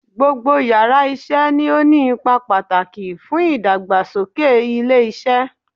Gbogbo yàrá isé ni ó ní ipa pàtàkì fún ìdàgbàsókè ilé isé